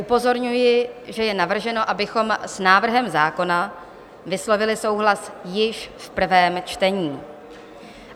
Upozorňuji, že je navrženo, abychom s návrhem zákona vyslovili souhlas již v prvém čtení.